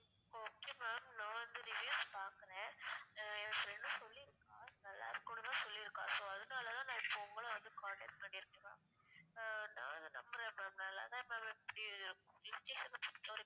ஓ okay ma'am நா வந்து reviews பாக்குறேன் ஆஹ் என் friend உ சொல்லிருக்கா நல்லா இருக்குன்னு தான் சொல்லிருக்கா so அதுனாலதான் நா இப்போ உங்கள வந்து contact பன்னிருக்கேன் ma'am ஆஹ் நா இத நம்புறேன் ma'am நல்லா தான் ma'am hill station அ பொறுத்த வரைக்கும்